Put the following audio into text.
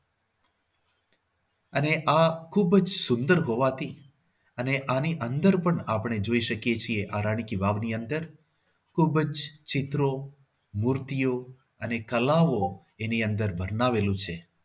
અને આ ખૂબ જ સુંદર હોવાથી અને આની અંદર પણ આપણે જોઈ શકીએ છીએ આ રાણી કી વાવની અંદર ખૂબ જ ચિત્રો, મૂર્તિઓ અને કલાઓ એની અંદર બનાવેલું છે.